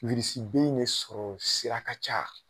in de sɔrɔ sira ka ca